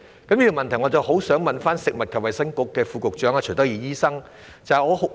就着這問題，我很希望向食物及衞生局副局長徐德義醫生提出補充質詢。